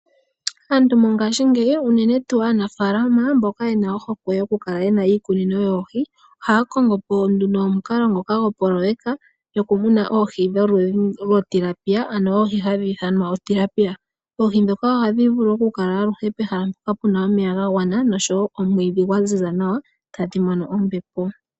Aantu mongashingeyi unene tuu aanafaalama mboka ye na ohokwe yokukala ye na iikunino yoohi, ohaya kongo po omukalo gopoloyeka yokumuna oohi dhomakende. Oohi ndhoka ohadhi vulu aluhe okukala pehala mpoka pu na omeya ga gwana noshowo omwiidhi gwa ziza nawa tadhi mono ombepo.